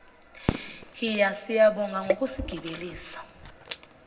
hhiya siyabonga ngokusigibelisa